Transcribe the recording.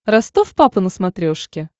ростов папа на смотрешке